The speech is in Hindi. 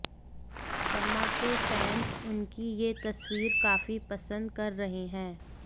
शमा के फैंस उनकी ये तस्वीर काफी पसंद कर रहे है